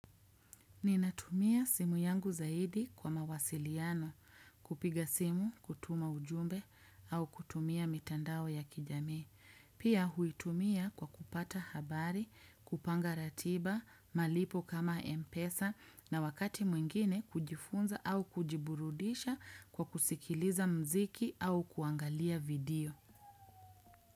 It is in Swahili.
Ninatumia simu yangu zaidi kwa mawasiliano. Kupiga simu, kutuma ujumbe au kutumia mitandao ya kijamii. Pia huitumia kwa kupata habari, kupanga ratiba, malipo kama empesa na wakati mwingine kujifunza au kujiburudisha kwa kusikiliza mziki au kuangalia video.